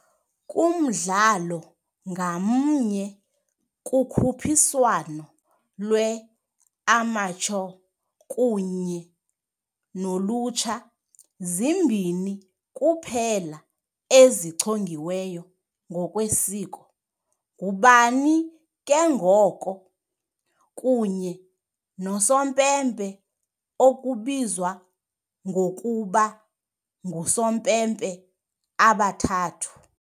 Kumdlalo ngamnye, kukhuphiswano lwe-amateur kunye nolutsha, zimbini kuphela ezichongiweyo ngokwesiko, ngubani ke ngoko, kunye nosompempe, okubizwa ngokuba "ngusompempe abathathu" .